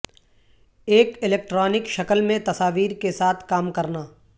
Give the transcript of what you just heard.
ایک الیکٹرانک شکل میں تصاویر کے ساتھ کام کرنا